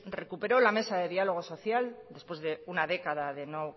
recupero la mesa de diálogo social después de una década de no